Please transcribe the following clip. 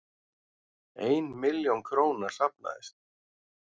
Ein milljón króna safnaðist